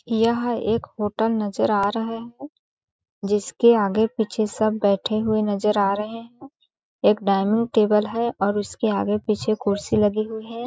यह एक होटल नज़र आ रहा है जिसके आगे जिसके आगे-पीछे सब बैठे हुए नज़र आ रहे है एक डॉयनिंग टेबल है और उसके आगे-पीछे कुर्सी लगी हुई हैं ।